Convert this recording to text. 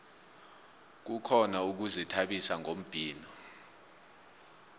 kukhona ukuzithabisa ngombhino